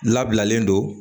Labilalen don